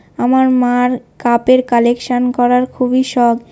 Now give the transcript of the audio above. আমার মার কাপের কালেকশন করার খুবই শখ।